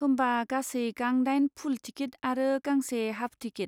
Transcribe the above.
होमबा, गासै गां दाइन फुल टिकिट आरो गांसे हाफ टिकिट।